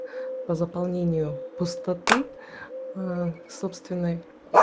по заполнению пустоты ээ собственной